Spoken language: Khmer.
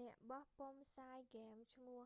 អ្នកបោះពុម្ពផ្សាយហ្គេមឈ្មោះ